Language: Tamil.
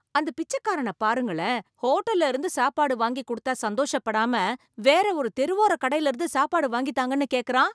அந்தப் பிச்சைக்காரன பாருங்களேன், ஹோட்டல்ல இருந்து சாப்பாடு வாங்கிக் கொடுத்தா சந்தோஷப்படாம வேற ஒரு தெருவோரக் கடையில இருந்து சாப்பாடு வாங்கித்தாங்கனு கேக்கறான்